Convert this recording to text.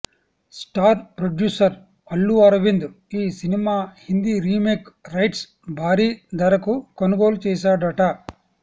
star producer Allu Aravind ఈ cinema Hindi remake rights భారీ ధరకు కొనుగోలు చేసాడట